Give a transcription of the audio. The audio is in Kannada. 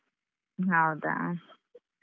ಹೌದಾ.